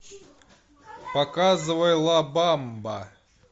показывай ла бамба